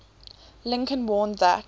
lincoln warned that